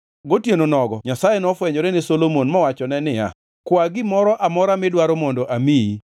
Gotieno nogo Nyasaye nofwenyore ne Solomon mowachone niya, “Kwa gimoro amora midwaro mondo amiyi.”